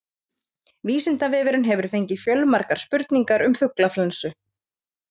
Vísindavefurinn hefur fengið fjölmargar spurningar um fuglaflensu.